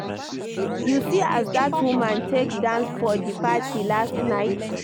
You see as dat woman take dance for di party last night?